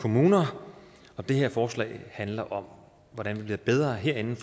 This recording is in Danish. kommuner og det her forslag handler om hvordan vi bliver bedre herinde